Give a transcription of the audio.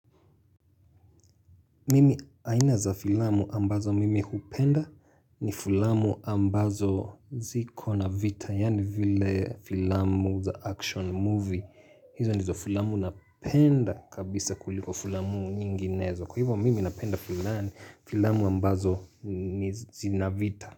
Mimi aina za filamu ambazo mimi hupenda ni filamu ambazo ziko na vita yaani vile filamu za action movie hizo nizo filamu napenda kabisa kuliko filamu nyinginezo Kwa hivo mimi napenda filamu ambazo zi na vita.